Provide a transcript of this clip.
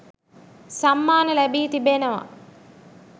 සම්මාන ලැබී තිබෙනවා.